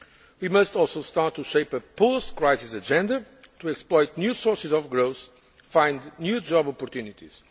work. We must also start to shape a post crisis agenda to exploit new sources of growth and find new job opportunities.